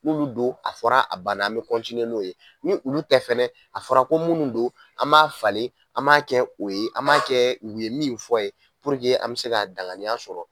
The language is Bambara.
Olu bɛ don a fɔra a bana an bɛ n'o ye ni olu tɛ fɛnɛ a fɔra ko minnu don an b'a falen an b'a kɛ o ye an b'a kɛ u ye min fɔ ye an bɛ se k'a danganiya sɔrɔ